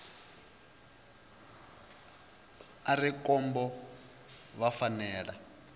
a re khombo vha fanela